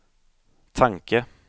tanke